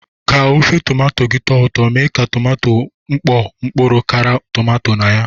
Ka ofe tomato gị tọọ ụtọ, mee ka tomato mkpọ mkpụrụ kara tomato na ya.